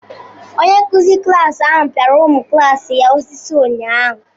Onyenkụ̀zi klasi ahụ pịara ụmụ klaasi ya osisi ụnyaahụ